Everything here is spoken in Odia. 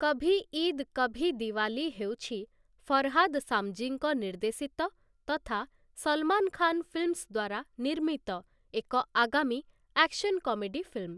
କଭି ଇଦ୍ କଭି ଦିୱାଲୀ ହେଉଛି ଫରହାଦ୍ ସାମଜୀଙ୍କ ନିର୍ଦ୍ଦେଶିତ ତଥା ସଲମାନ ଖାନ୍ ଫିଲ୍ମସ୍ ଦ୍ୱାରା ନିର୍ମିତ ଏକ ଆଗାମୀ ଆକ୍ସନ୍ କମେଡି ଫିଲ୍ମ ।